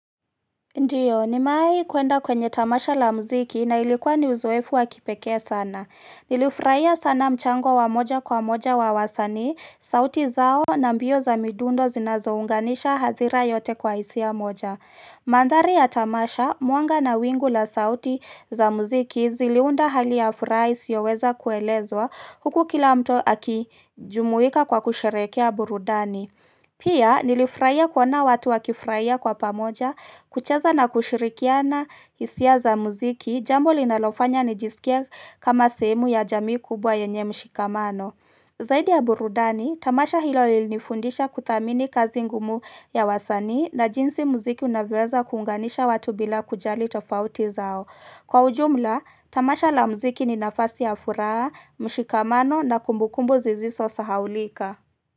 Ndiyo, nimewai kuenda kwenye tamasha la mziki na ilikuwa ni uzoefu wa kipekee sana. Nilifraia sana mchango wa moja kwa moja wa wasanii, sauti zao na mbio za midundo zinazounganisha hasira yote kwa hisia moja. Manthari ya tamasha, mwanga na wingu la sauti za mziki ziliunda hali ya furaha isiyoweza kuelezwa huku kila mtu akijumuika kwa kusherekea burudani. Pia nilifraia kuona watu wakifraia kwa pamoja, kucheza na kushirikiana hisia za muziki, jambo linalofanya nijisikie kama sehemu ya jamii kubwa yenye mshikamano. Zaidi ya burudani, tamasha hilo lilinifundisha kuthamini kazi ngumu ya wasanii na jinsi muziki unavyoweza kuunganisha watu bila kujali tofauti zao. Kwa ujumla, tamasha la muziki ni nafasi ya furaa, mshikamano na kumbukumbu zizisosahaulika.